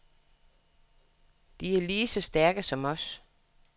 De er lige så stærke som os.